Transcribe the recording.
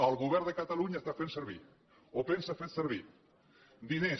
el govern de catalunya està fent servir o pensa fer servir diners